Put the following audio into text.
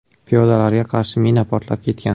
Piyodalarga qarshi mina portlab ketgan.